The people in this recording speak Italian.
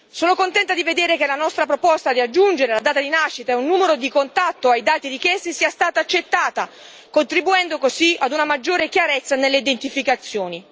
Sono contenta di vedere che la nostra proposta di aggiungere la data di nascita e un numero di contatto ai dati richiesti sia stata accettata, contribuendo così a una maggiore chiarezza nelle identificazioni.